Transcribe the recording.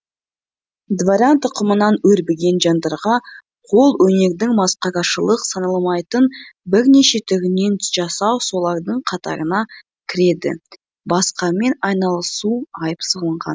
дворян тұқымынан өрбіген жандарға қолөнердің масқарашылық саналмайтын бірнеше түрінен жасау солардың қатарына кіреді басқамен айналысу айып саналған